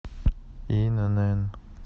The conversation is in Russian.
инн